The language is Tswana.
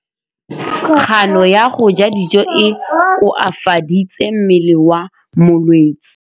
Kganô ya go ja dijo e koafaditse mmele wa molwetse.